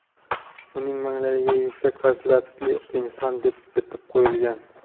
Uning manglayiga yuksak fazilatli inson deb bitib qo‘yilgan.